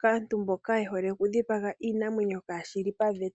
kaantu mboka ye hole okudhipaga iinamwenyo kaashilipaveta.